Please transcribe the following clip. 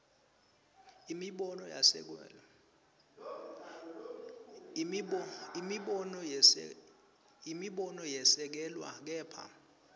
imibono yesekelwe kepha